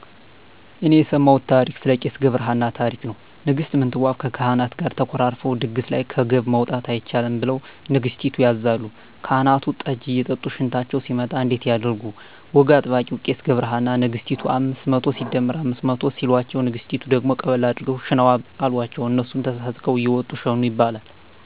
እኔ የሰማውት ታሪክ ስለ ቄስ ገብርሃና ታሪክ ነው ንግስት ምንትዋብ ከካህናት ጋር ተኮራርፈው ድግስ ላይ ከገብ መውጣት አይቻልም ብለሁ ንገስቲቱ ያዛሉ ካህናቱን ጠጂ እየጠጡ ሽንታቸው ሲመጣ እንዴት ያድርጉ ወግ አዋቂው ቄስ ገብረሃና ነግስቲቱን አምስት መቶ ሲደመር አምስት መቶ ሲሎቸው ንግስቲቱ ደግሞ ቀበል አድርገው ሽነዋ አሎቸው እነሱም ተሳስቀው እየወጡ ሸኑ ይባላል